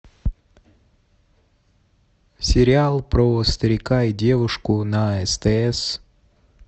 сериал про старика и девушку на стс